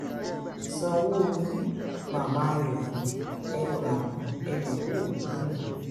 sanwó-olu mama remi ẹ gbá mi ẹ́ dẹ̀ ń wò mí níran